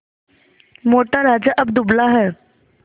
मोटा राजा अब दुबला है